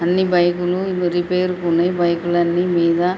అన్ని బైకు లు ఇవిగో రిపేర్ కున్నాయి బైకు లన్ని మీద--